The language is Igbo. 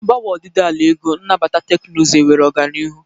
Mgbanwe ọdịdị ala ego, nabata teknụzụ, enwere ọganihu.